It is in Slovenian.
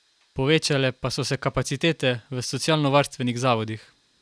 Povečale pa so se kapacitete v socialnovarstvenih zavodih.